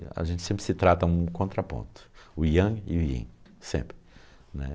E a gente sempre se trata de um contraponto, o Yang e o Yin, sempre, né.